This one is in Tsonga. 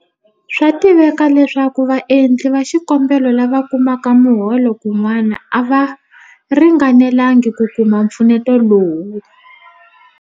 Swa tiveka leswaku vaendli va xikombelo lava kumaka miholo kun'wana a va ringanelanga hi ku kuma mpfuneto lowu.